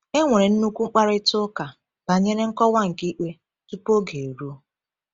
E nwere nnukwu mkparịta ụka banyere nkọwa nke ikpe tupu oge eruo.